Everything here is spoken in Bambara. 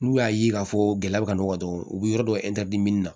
N'u y'a ye k'a fɔ gɛlɛya ka nɔgɔ dɔrɔn u bɛ yɔrɔ dɔ na